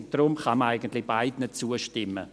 Deshalb kann man eigentlich beiden zustimmen.